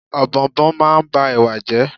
Ọ̀bọ̀ọ̀nbọọ̀n máa ń ba Ẹ̀wà jẹ́.